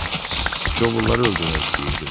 Şovulları öldürmək istəyirdim.